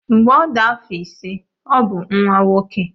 Mgbe ọ dị afọ ise ọ bụ nwa nwoke.